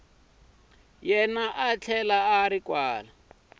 yena a tlhela a ri